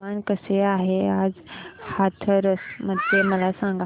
हवामान कसे आहे आज हाथरस मध्ये मला सांगा